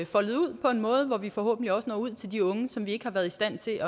foldet ud på en måde så vi forhåbentlig også når ud til de unge som vi ikke har været i stand til at